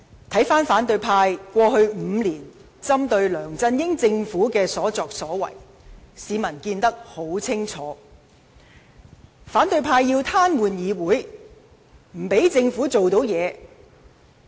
對於反對派過去5年針對梁振英政府的所作所為，市民看得一清二楚；反對派要癱瘓議會，不讓政府做任何事。